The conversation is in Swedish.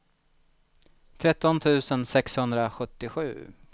tretton tusen sexhundrasjuttiosju